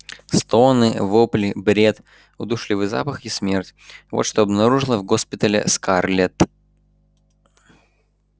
стоны вопли бред удушливый запах и смерть вот что обнаружила в госпитале скарлетт